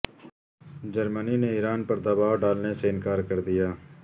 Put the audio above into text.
جرمنی نے ایران پر دباو ڈالنے سے انکار کر دیا